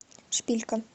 шпилька